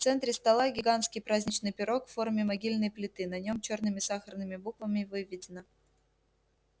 в центре стола гигантский праздничный пирог в форме могильной плиты на нём чёрными сахарными буквами выведено